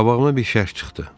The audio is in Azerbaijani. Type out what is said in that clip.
Qabağıma bir şeir çıxdı.